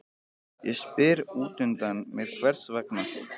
Ég spyr útundan mér hvers vegna